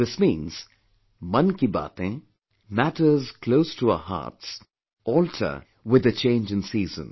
This means, Mann Ki Batein, matters close to our hearts, alter with the change in season